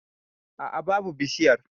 A'a babu bishiyar.